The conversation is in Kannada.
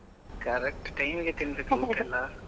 Correct time ಗೆ ತಿನ್ಬೇಕು ಊಟ ಎಲ್ಲಾ.